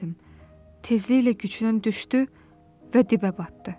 Tezliklə gücdən düşdü və dibə batdı.